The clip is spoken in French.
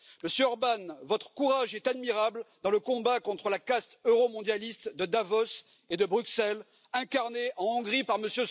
Monsieur Orbán, votre courage est admirable dans le combat contre la caste euromondialiste de Davos et de Bruxelles, incarnée en Hongrie par M.